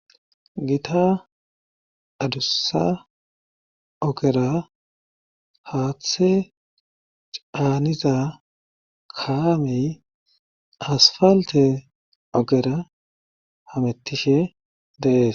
gita adussa ogera haaththe caaniza kaamey asfalte ogera hamettishe de'ees